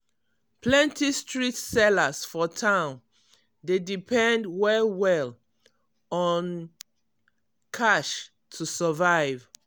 plenty street sellers for town dey depend well well on um cash to survive.